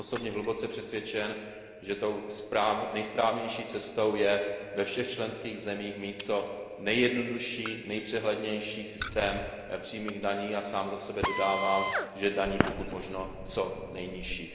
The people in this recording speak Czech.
Já jsem osobně hluboce přesvědčen, že tou nejsprávnější cestou je ve všech členských zemích mít co nejjednodušší, nejpřehlednější systém přímých daní, a sám za sebe dodávám, že daní pokud možno co nejnižších.